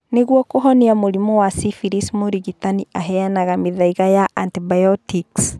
Nĩguo kuhonia mũrimũ wa syphilis mũrigitani aheanaga mĩthaiga ya antibiotics